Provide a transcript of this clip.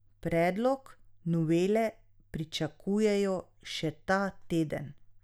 Predlog novele pričakujejo še ta teden.